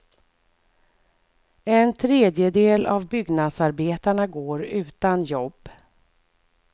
En tredjedel av byggnadsarbetarna går utan jobb.